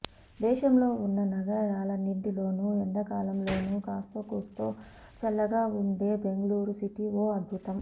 దేశంలో ఉన్న నగరాలన్నింటిలోనూ ఎండాకాలంలోనూ కాస్తో కూస్తో చల్లగా ఉండె బెంగళూరు సిటీ ఓ అద్భుతం